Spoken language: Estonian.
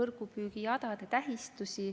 võrgupüügijadade tähistusi.